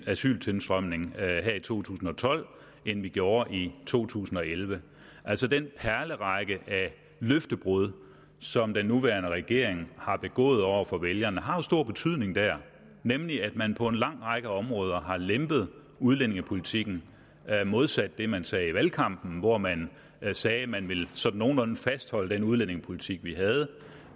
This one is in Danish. asyltilstrømning her i to tusind og tolv end vi gjorde i to tusind og elleve altså den perlerække af løftebrud som den nuværende regering har begået over for vælgerne har jo stor betydning der nemlig at man på en lang række områder har lempet udlændingepolitikken modsat det man sagde i valgkampen hvor man sagde at man sådan nogenlunde ville fastholde den udlændingepolitik vi havde